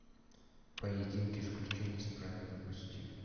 поединки исключение из правил запусти